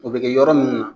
O bɛ kɛ yɔrɔ minnu na